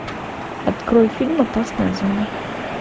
открой фильм опасная зона